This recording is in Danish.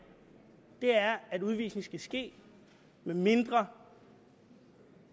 er at udvisning skal ske medmindre